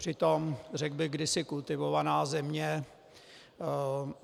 Přitom, řekl bych, kdysi kultivovaná země.